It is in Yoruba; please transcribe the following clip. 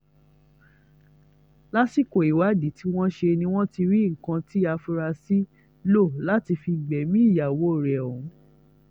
lásìkò ìwádìí tí wọ́n ṣe ni wọ́n ti rí nǹkan tí afurasí lò láti fi gbẹ̀mí ìyàwó rẹ̀ ọ̀hún